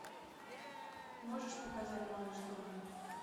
можешь показать малыш тони